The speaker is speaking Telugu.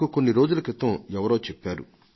ఇటీవలే ఎవరో నాతో చెప్పారు